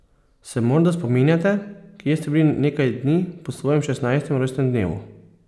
Se morda spominjate, kje ste bili nekaj dni po svojem šestnajstem rojstnem dnevu?